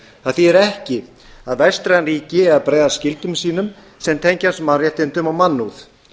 það þýðir ekki að vestræn ríki eigi að bregðast skyldum sínum sem tengjast mannréttindum og mannúð